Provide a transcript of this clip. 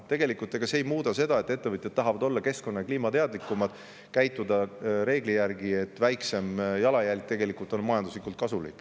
Tegelikult see ei muuda seda, et ettevõtjad tahavad olla keskkonna- ja kliimateadlikumad, käituda reegli järgi, sest väiksem jalajälg on majanduslikult kasulik.